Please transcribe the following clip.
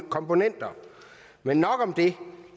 komponenter men nok om det